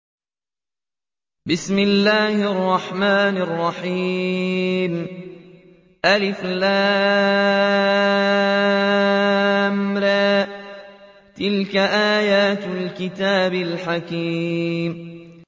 الر ۚ تِلْكَ آيَاتُ الْكِتَابِ الْحَكِيمِ